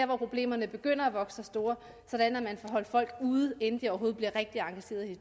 hvor problemerne begynder at vokse sig store sådan at man får holdt folk ude inden de overhovedet bliver rigtig engageret i